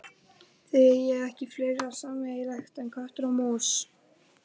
Þið eigið ekki fleira sameiginlegt en köttur og mús.